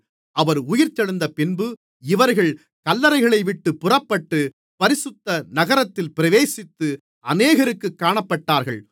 அவர் உயிர்த்தெழுந்தபின்பு இவர்கள் கல்லறைகளைவிட்டுப் புறப்பட்டு பரிசுத்த நகரத்தில் பிரவேசித்து அநேகருக்குக் காணப்பட்டார்கள்